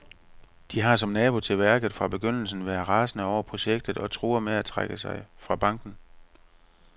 De har, som nabo til værket, fra begyndelsen været rasende over projektet og truer med at trække sig fra banken.